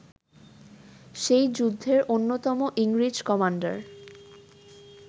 সেই যুদ্ধের অন্যতম ইংরেজ কমান্ডার